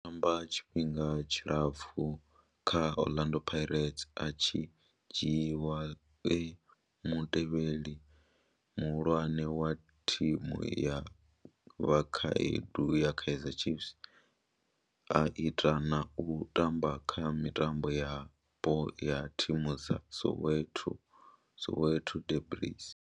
O tamba tshifhinga tshilapfhu kha Orlando Pirates, a tshi dzhiiwa e mutevheli muhulwane wa thimu ya vhakhaedu ya Kaizer Chiefs, a ita na u tamba kha mitambo yapo ya thimu dza Soweto Soweto derbies.